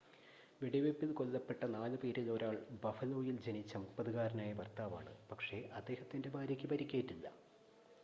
വെടിവെയ്പ്പിൽ കൊല്ലപ്പെട്ട നാലുപേരിൽ ഒരാൾ ബഫലോയിൽ ജനിച്ച 30-കാരനായ ഭർത്താവാണ് പക്ഷേ അദ്ദേഹത്തിൻ്റെ ഭാര്യയ്ക്ക് പരിക്കേറ്റില്ല